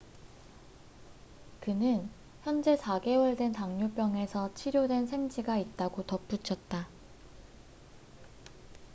"그는 "현재 4개월 된 당뇨병에서 치료된 생쥐가 있다""고 덧붙였다.